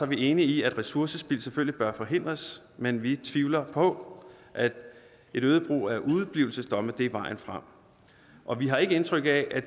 vi enige i at ressourcespild selvfølgelig bør forhindres men vi tvivler på at øget brug af udeblivelsesdomme er vejen frem og vi har ikke indtryk af